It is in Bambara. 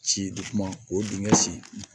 Ci de kuma o dingɛ sen